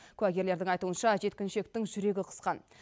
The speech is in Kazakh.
куәгерлердің айтуынша жеткіншектің жүрегі қысқан